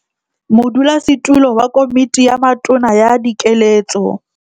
Modulasetulo wa Komiti ya Matona ya Dikeletso